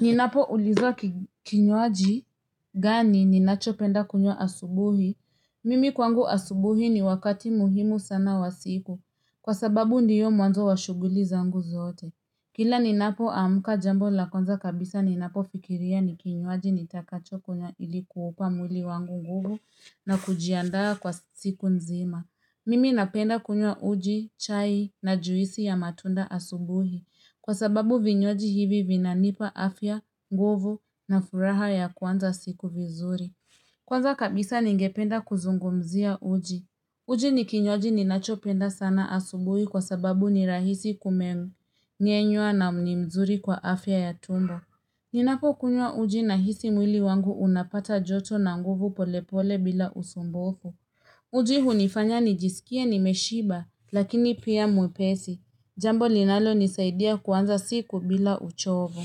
Ninapo ulizwa kinywaji gani ninacho penda kunywa asubuhi. Mimi kwangu asubuhi ni wakati muhimu sana wa siku. Kwa sababu ndiyo mwanzo wa shuguli za ngu zote. Kila ninapo amka jambo la kwanza kabisa ninapo fikiria ni kinywaji nitakacho kunywa ilikuupa mwili wangu nguvu na kujiandaa kwa siku nzima. Mimi napenda kunywa uji, chai na juisi ya matunda asubuhi. Kwa sababu vinywaji hivi vinanipa afya, nguvu na furaha ya kuanza siku vizuri. Kwanza kabisa ningependa kuzungumzia uji. Uji ni kinywaji ninachopenda sana asubuhi kwa sababu ni rahisi kumeng'enywa na ni mzuri kwa afya ya tumbo. Ninapo kunywa uji na hisi mwili wangu unapata joto na nguvu pole pole bila usumbufu. Uji hunifanya nijisikie nimeshiba, lakini pia mwepesi. Jambo linalo nisaidia kuanza siku bila uchovu.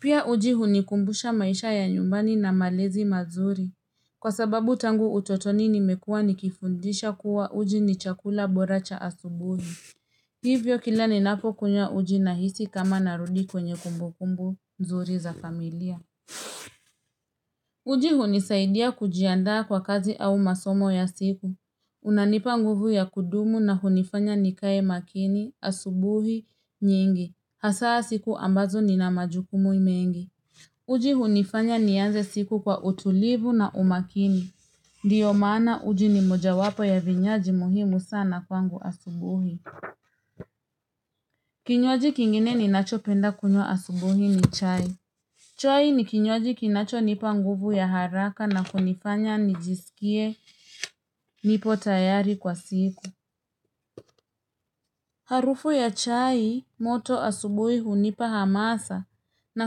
Pia uji hunikumbusha maisha ya nyumbani na malezi mazuri. Kwa sababu tangu utotoni nimekua nikifundisha kuwa uji ni chakula bora cha asubuhi. Hivyo kila ni napo kunywa uji na hisi kama narudi kwenye kumbukumbu, nzuri za familia. Uji hunisaidia kujiandaa kwa kazi au masomo ya siku. Unanipa nguvu ya kudumu na hunifanya nikae makini, asubuhi, nyingi. Hasaa siku ambazo ni na majukumu mengi. Uji hunifanya nianze siku kwa utulivu na umakini. Ndio maana uji ni moja wapo ya vinywaji muhimu sana kwangu asubuhi. Kinywaji kingine ni nacho penda kunywa asubuhi ni chai. Chai ni kinywaji kinacho nipa nguvu ya haraka na kunifanya nijisikie nipo tayari kwa siku. Harufu ya chai moto asubui hunipa hamasa na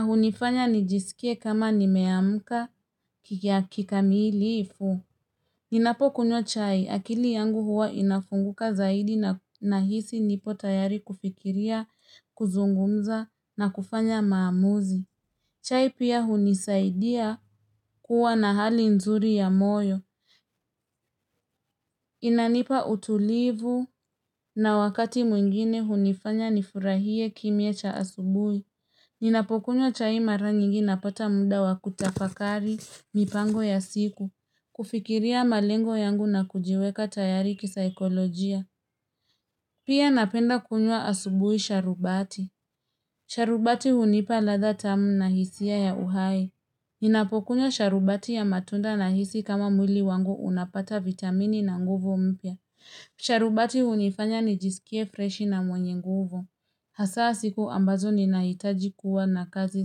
hunifanya nijisikie kama nimeamuka kikamilifu. Ninapo kunywa chai akili yangu huwa inafunguka zaidi na hisi nipo tayari kufikiria, kuzungumza na kufanya maamuzi. Chai pia hunisaidia kuwa na hali nzuri ya moyo. Inanipa utulivu na wakati mwingine hunifanya nifurahie kimya cha asubui. Ninapokunywa chai mara nyingi napata muda wakutafakari, mipango ya siku. Kufikiria malengo yangu na kujiweka tayari kisa ekolojia. Pia napenda kunywa asubui sharubati. Sharubati hunipa ladha tamu na hisia ya uhai. Ninapokunywa sharubati ya matunda na hisi kama mwili wangu unapata vitamini na nguvu mpya. Sharubati hunifanya ni jisikie freshi na mwenye nguvu. Hasaa siku ambazo ni nahitaji kuwa na kazi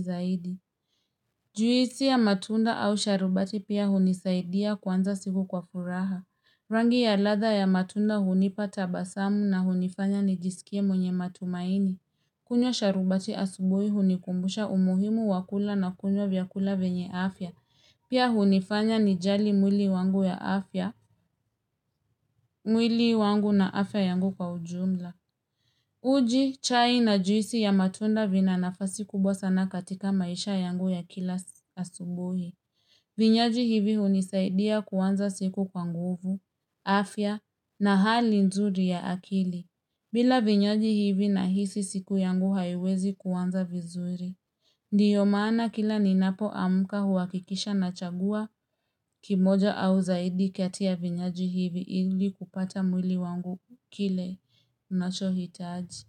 zaidi. Juisi ya matunda au sharubati pia hunisaidia kuanza siku kwa furaha. Rangi ya ladha ya matunda hunipa ta basamu na hunifanya ni jisikie mwenye matumaini. Kunywa sharubati asubui hunikumbusha umuhimu wakula na kunywa vyakula venye afya. Pia hunifanya ni jali mwili wangu ya afya, mwili wangu na afya yangu kwa ujumla. Uji, chai na juisi ya matunda vina nafasi kubwa sana katika maisha yangu ya kila asubuhi. Vinywaji hivi hunisaidia kuanza siku kwa nguvu, afya na hali nzuri ya akili. Bila vinywaji hivi na hisi siku yangu haiwezi kuanza vizuri. Ndiyo maana kila ninapo amka huwakikisha na chagua kimoja au zaidi kati ya vinywaji hivi ili kupata mwili wangu kile nachohitaji.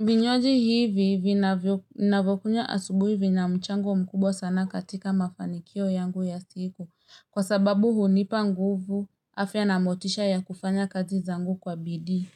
Vinywaji hivi ninavokunywa asubui vi na mchango mkubwa sana katika mafanikio yangu ya siku kwa sababu hunipa nguvu afya na motisha ya kufanya kazi zangu kwa bidii.